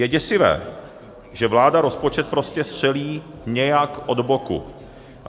Je děsivé, že vláda rozpočet prostě střelí nějak od boku.